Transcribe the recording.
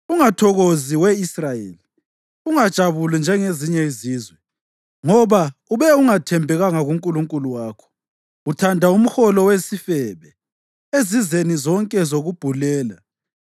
Ungathokozi, we Israyeli; ungajabuli njengezinye izizwe. Ngoba ube ungathembekanga kuNkulunkulu wakho; uthanda umholo wesifebe ezizeni zonke zokubhulela.